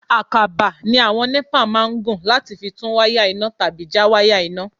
Àkàbà ni àwọn NEPA máa ń gùn láti fi tún wáyà iná tàbí já wáyà iná.